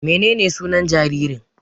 Menene sunan jaririn?